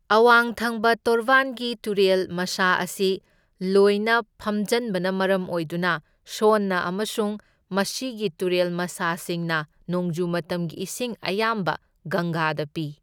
ꯑꯋꯥꯡ ꯊꯪꯕ ꯇꯣꯔꯕꯥꯟꯒꯤ ꯇꯨꯔꯦꯜ ꯃꯁꯥ ꯑꯁꯤ ꯂꯣꯏꯅ ꯐꯝꯖꯟꯕꯅ ꯃꯔꯝ ꯑꯣꯏꯗꯨꯅ ꯁꯣꯟꯅ ꯑꯃꯁꯨꯡ ꯃꯁꯤꯒꯤ ꯇꯨꯔꯦꯜ ꯃꯁꯥꯁꯤꯡꯅ ꯅꯣꯡꯖꯨ ꯃꯇꯝꯒꯤ ꯏꯁꯤꯡ ꯑꯌꯥꯝꯕ ꯒꯪꯒꯥꯗ ꯄꯤ꯫